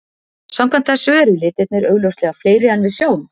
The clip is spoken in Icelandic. Samkvæmt þessu eru litirnir augljóslega fleiri en við sjáum.